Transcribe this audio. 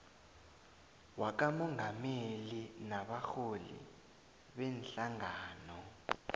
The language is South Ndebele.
wakamongameli nabarholi beenhlangano